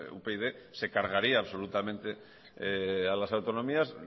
upyd se cargaría absolutamente a las autonomías